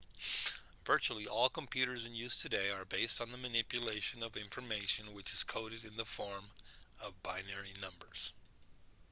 virtually all computers in use today are based on the manipulation of information which is coded in the form of binary numbers